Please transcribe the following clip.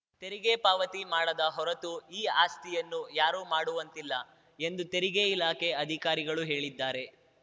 ತೆರಿಗೆ ಪಾವತಿ ಮಾಡದ ಹೊರತೂ ಈ ಆಸ್ತಿಯನ್ನು ಯಾರೂ ಮಾರುವಂತಿಲ್ಲ ಎಂದು ತೆರಿಗೆ ಇಲಾಖೆ ಅಧಿಕಾರಿಗಳು ಹೇಳಿದ್ದಾರೆ